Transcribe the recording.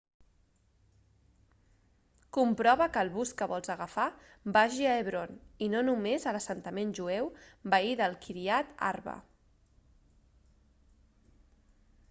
comprova que el bus que vols agafar vagi a hebron i no només a l'assentament jueu veí de kiryat arba